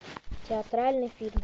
театральный фильм